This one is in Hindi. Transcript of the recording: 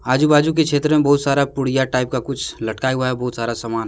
आजू बाजू के क्षेत्र में बहुत सारा पुड़िया टाइप का कुछ लटकाया हुआ है बहुत सारा सामान है।